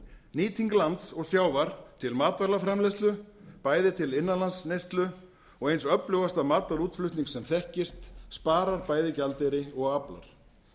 nýting lands og sjávar til matvælaframleiðslu bæði til innanlandsneyslu og eins öflugasta matarútflutnings sem þekkist sparar bæði gjaldeyri og aflar